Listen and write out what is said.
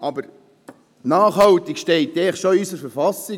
Die Nachhaltigkeit steht eigentlich schon in unserer Verfassung.